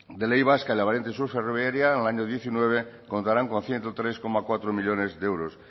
de ley vasca de la variante sur ferroviaria en el año diecinueve contarán con ciento tres coma cuatro millónes de euros